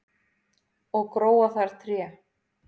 og gróa þar tré